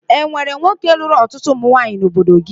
E nwere nwoke lụrụ ọtụtụ ụmụnwaanyị n'obodo gị?